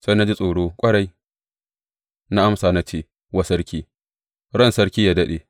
Sai na ji tsoro ƙwarai, na amsa na ce wa sarki, Ran sarki yă daɗe!